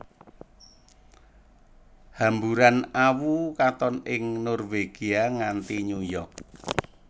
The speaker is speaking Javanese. Hamburan awu katon ing Norwegia nganti New York